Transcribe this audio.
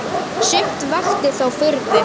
Sumt vakti þó furðu.